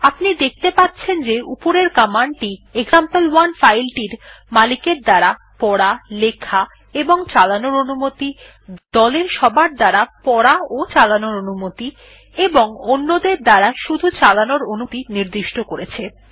আপনি দেখতে পাচ্ছেন যে উপরের কমান্ড টি এক্সাম্পল1 ফাইল টির মালিকের দ্বারা পড়া লেখাচালানোর অনুমতি দলের সবার দ্বারা পড়াচালানোর অনুমতি এবং অন্যদের দ্বারা শুধু চালানোর অনুমতি নির্দিষ্ট করেছে